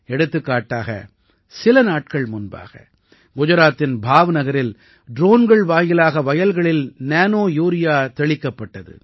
எடுத்துக்காட்டாக சில நாட்கள் முன்பாக குஜராத்தின் பாவ்நகரில் ட்ரோன்கள் வாயிலாக வயல்களில் நேனோ யூரியா தெளிக்கப்பட்டது